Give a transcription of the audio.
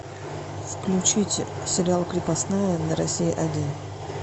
включите сериал крепостная на россия один